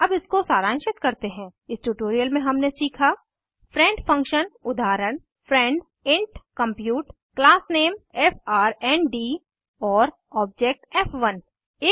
अब इसको सारांशित करते हैं इस ट्यूटोरियल में हमने सीखा फ्रेंड फंक्शन उदाहरण friend int compute class name friend और ऑब्जेक्ट फ़1